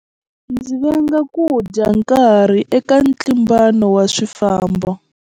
Ndzi venga ku dya nkarhi eka ntlimbano wa swifambo.